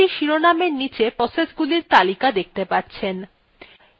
আপনি cmd শিরোনামএর নীচে processগুলির name দেখতে পাচ্ছেন